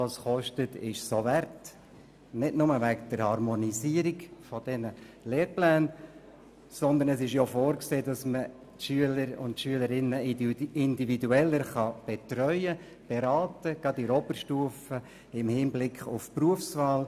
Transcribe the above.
Doch diese Kosten sind es wert, nicht nur wegen der Harmonisierung der Lehrpläne, sondern auch, weil vorgesehen ist, die Schülerinnen und Schüler individueller zu betreuen, gerade in der Oberstufe im Hinblick auf die Berufswahl.